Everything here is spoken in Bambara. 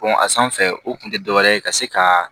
a sanfɛ o kun tɛ dɔ wɛrɛ ye ka se ka